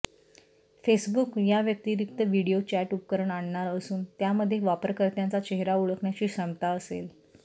Facebook याव्यतिरिक्त video chat उपकरण आणणार असून त्यामध्ये वापरकर्त्यांचा चेहरा ओळखण्याची क्षमता असेल